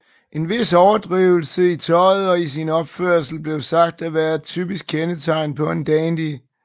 En vis overdrivelse i tøjet og i sin opførsel blev sagt at være et typisk kendetegn på en dandy